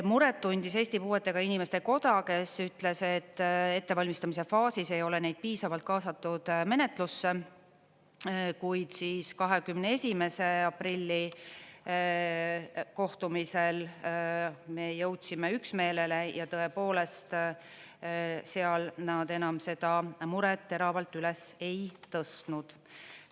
Muret tundis Eesti Puuetega Inimeste Koda, kes ütles, et ettevalmistamise faasis ei ole neid piisavalt kaasatud menetlusse, kuid 21. aprilli kohtumisel me jõudsime üksmeelele ja tõepoolest seal nad enam seda muret teravalt üles ei tõstnud.